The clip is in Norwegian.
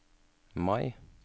Mai